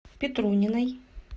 петруниной